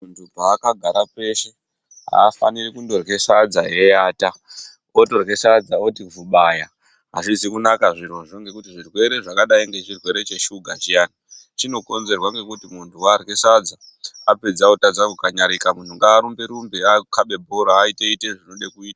Paakagara peshe afaniri kundorye sadza eiata, otorye sadza oti vhubaya azvizi kunaka zvirozvo ngekuti zvirwere zvakadai ngechirwere cheshiga chiyani chinokonzerwa ngekuti muntu warye sadza apedza oradza kukanyarika. Munhu ngarumbe rumbe akhabe bhora aite ite zvinode kuitwa.